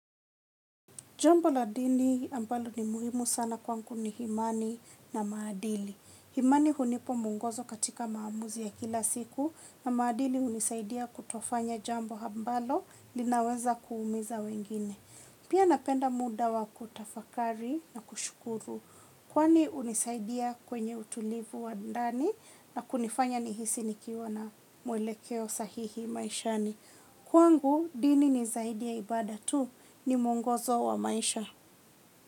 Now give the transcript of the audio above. Jambo la dini ambalo ni muhimu sana kwangu ni imani na maadili. Imani hunipa mwongozo katika maamuzi ya kila siku na maadili hunisaidia kutofanya jambo ambalo linaweza kuumiza wengine. Pia napenda muda wa kutafakari na kushukuru kwani hunisaidia kwenye utulivu wa ndani na kunifanya nihisi nikiwa na mwelekeo sahihi maishani. Kwangu dini ni zaidi ya ibada tu ni mwongozo wa maisha.